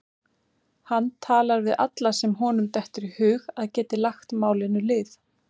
Hann talar við alla sem honum dettur í hug að geti lagt málinu lið.